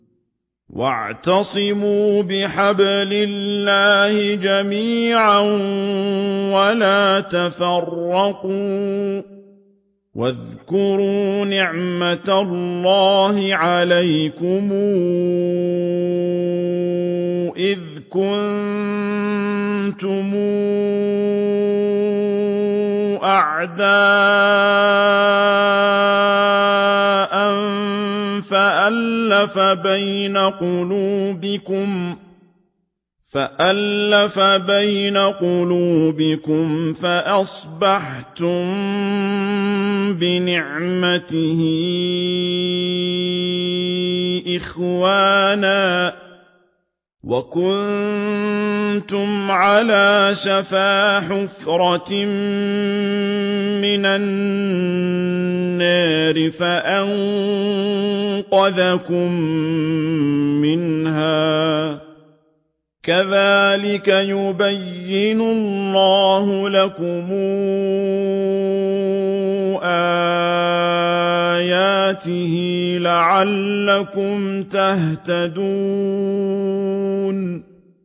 وَاعْتَصِمُوا بِحَبْلِ اللَّهِ جَمِيعًا وَلَا تَفَرَّقُوا ۚ وَاذْكُرُوا نِعْمَتَ اللَّهِ عَلَيْكُمْ إِذْ كُنتُمْ أَعْدَاءً فَأَلَّفَ بَيْنَ قُلُوبِكُمْ فَأَصْبَحْتُم بِنِعْمَتِهِ إِخْوَانًا وَكُنتُمْ عَلَىٰ شَفَا حُفْرَةٍ مِّنَ النَّارِ فَأَنقَذَكُم مِّنْهَا ۗ كَذَٰلِكَ يُبَيِّنُ اللَّهُ لَكُمْ آيَاتِهِ لَعَلَّكُمْ تَهْتَدُونَ